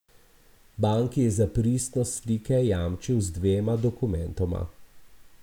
Banki je za pristnost slike jamčil z dvema dokumentoma.